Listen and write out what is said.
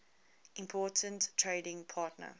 important trading partner